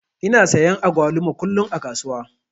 Ina sayan agwaluma kullum a kasuwa.